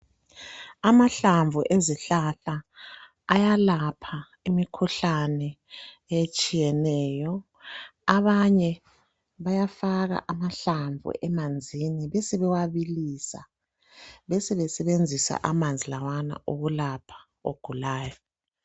Amahlamvu ezihlahla ayalapha imikhuhlane etshiyeneyo, abanye bayafaka amahlamvu emanzini besebewabilisa, besebesebenzisa amanzi lawana ukulapha ogulayo.